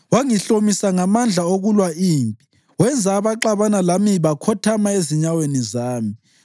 Wangihlomisa ngamandla okulwa impi; wenza abaxabana lami bakhothama ezinyaweni zami.